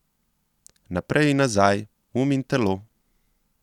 Naprej in nazaj, um in telo?